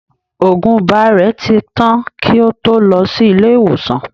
Òògun ibà rẹ̀ ti tán kí ó to lọ sí ilé ìwòsàn